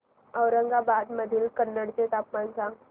औरंगाबाद मधील कन्नड चे तापमान सांग